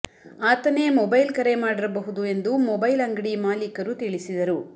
ಆತನೇ ಮೊಬೈಲ್ ಕರೆ ಮಾಡಿರಬಹುದು ಎಂದು ಮೊಬೈಲ್ ಅಂಗಡಿ ಮಾಲಕರು ತಿಳಿಸಿದರು